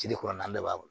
Si kuran na bɛɛ b'a bɔ